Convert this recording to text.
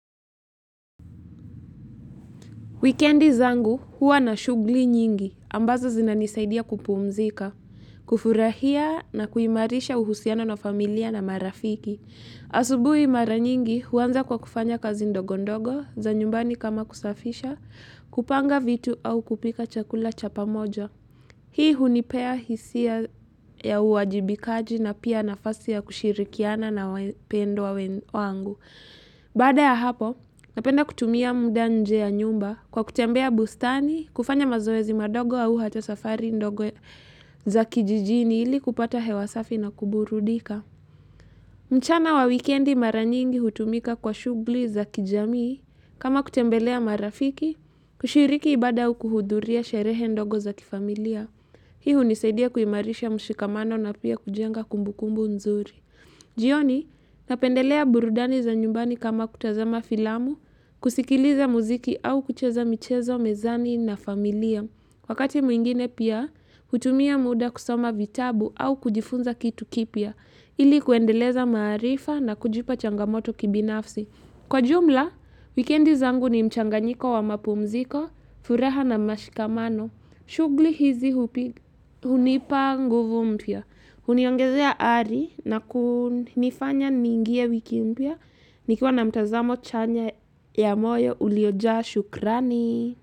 Wikendi zangu huwa na shughuli nyingi, ambazo zinanisaidia kupuumzika, kufurahia na kuimarisha uhusiano na familia na marafiki. Asubuhi mara nyingi huanza kwa kufanya kazi ndogondogo za nyumbani kama kusafisha, kupanga vitu au kupika chakula chapa moja. Hii hunipea hisia ya uwajibikaji na pia nafasi ya kushirikiana na wapendo wa wangu. Baada ya hapo napenda kutumia muda nje ya nyumba kwa kutembea bustani kufanya mazoezi madogo au hata safari ndogo za kijijini ili kupata hewasafi na kuburudika. Mchana wa wikendi maranyingi hutumika kwa shughuli za kijamii kama kutembelea marafiki kushiriki ibada au kuhudhuria sherehe ndogo za kifamilia. Hii hunisaidia kuimarisha mshikamano na pia kujenga kumbukumbu nzuri. Jioni, napendelea burudani za nyumbani kama kutazama filamu, kusikiliza muziki au kucheza michezo mezani na familia. Wakati mwingine pia, hutumia muda kusoma vitabu au kujifunza kitu kipia, ili kuendeleza marifa na kujipa changamoto kibinafsi. Kwa jumla, wikendi zangu ni mchanganyiko wa mapumziko, furaha na mashikamano. Shughuli hizi hupi hunipa nguvu mpya. Huniongezea ari na kunifanya ningie wiki mpya. Nikiwa na mtazamo chanya ya moyo uliojaa shukrani.